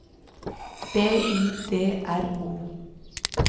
B I D R O